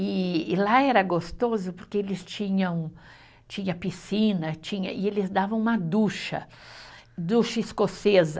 E e lá era gostoso porque eles tinham, tinha piscina, tinha, e eles davam uma ducha, ducha escocesa.